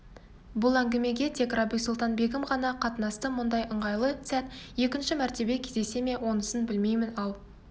бұл әңгімеге тек рабиу-сұлтан-бегім ғана қатынасты мұндай ыңғайлы сәт екінші мәртебе кездесе ме онысын білмеймін ал